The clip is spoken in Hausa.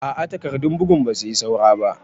A a takardun bugun ba su yi saura ba.